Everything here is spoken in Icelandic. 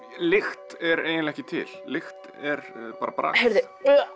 lykt er eiginlega ekki til lykt er bara bragð oj